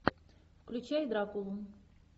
включай дракулу